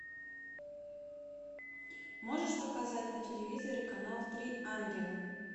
можешь показать на телевизоре канал три ангела